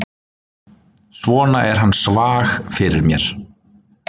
Svona er hann svag fyrir mér.